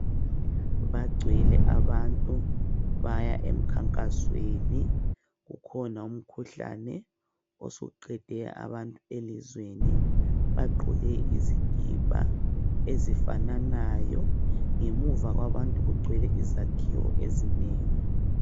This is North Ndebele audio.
Bagcwele abantu baya emkhankasweni. Kukhona umkhuhlane osuqede abantu elizweni bagqoke izikipa ezifananayo. Ngemuva kwabantu kugcwele izakhiwo ezinengi.